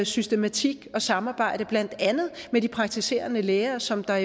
systematik og samarbejde med blandt andet de praktiserende læger som der